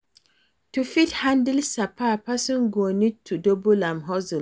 to fit handle sapa person go need to double im hustle